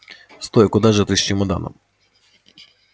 стой куда же ты с чемоданом